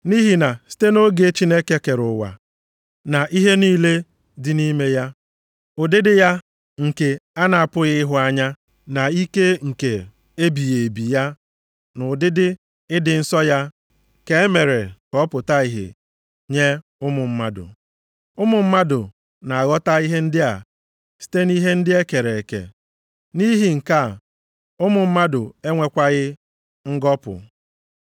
Nʼihi na site nʼoge Chineke kere ụwa na ihe niile dị nʼime ya, ụdịdị ya nke a na-apụghị ịhụ anya na ike nke ebighị ebi ya na ụdịdị ịdị nsọ ya ka e mere ka ọ pụta ìhè nye ụmụ mmadụ. Ụmụ mmadụ na-aghọta ihe ndị a site nʼihe ndị e kere eke. Nʼihi nke a ụmụ mmadụ enwekwaghị ngọpụ.